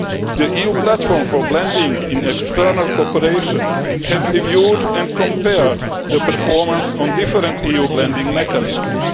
The EU Platform for Blending in External Cooperation has reviewed and compared the performance of different EU blending mechanisms.